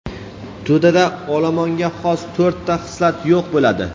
To‘dada olomonga xos to‘rtta xislat yo‘q bo‘ladi.